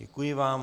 Děkuji vám.